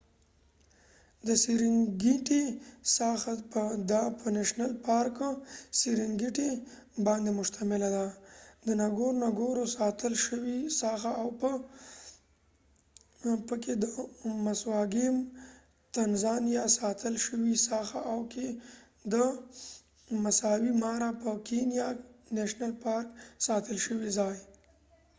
د سیرینګیټی ساحه د سیرنګیټیserengiti په نیشنل پارک باندي مشتمله ده ، د نګورنګورو ngorongoro ساتل شوي ساحه او په تنزانیا tanzaniaکې د مسوا ګیم maswa game ساتل شوي ساحه او په کېنیا kenya کې د مسای مارا نیشنل پارک masai mara national park ساتل شوي ځای